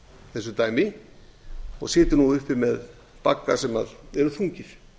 þessu dæmi og situr nú uppi með bagga sem eru þungir